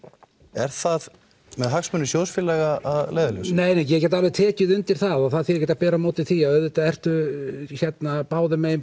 er það með hagsmuni sjóðsfélaga að leiðarljósi nei nei ég get tekið undir það og það þýðir ekki að bera á móti því að auðvitað ertu beggja megin